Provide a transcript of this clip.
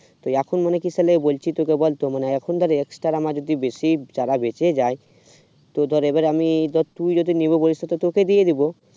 তো এখন মানে তো তাহলে বলছি তোকে ধর এখন ধর exterior আমার যদি বেশি চারা বেঁচে যায় তো ধর এবার না তুই যদি নেব বলিস তো তোকেই দিয়ে দিব